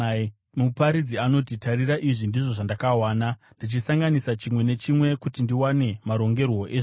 Muparidzi anoti, “Tarira, izvi ndizvo zvandakawana: “Ndichisanganisa chimwe nechimwe kuti ndiwane marongerwo ezvinhu,